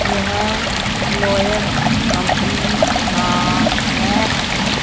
यह Lloyd company का है।